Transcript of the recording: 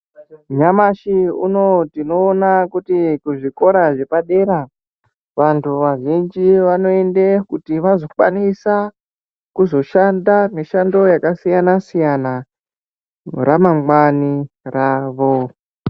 Nyamashi unouyu tinoona kuti kuzvikora zvepadera vantu vazhinji wanoende kuti wazokwanisa kuzoshanda mishando yakasiyana siyana ramangwani ravo.